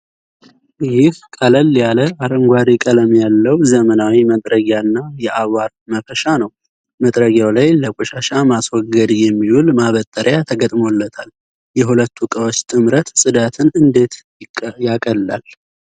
ይህ ቀለል ያለ አረንጓዴ ቀለም ያለው ዘመናዊ መጥረጊያና የአቧራ ማፈሻ ነው። መጥረጊያው ላይ ለቆሻሻ ማስወገድ የሚውል ማበጠሪያ ተገጥሞለታል። የሁለቱ ዕቃዎች ጥምረት ጽዳትን እንዴት ያቀላል?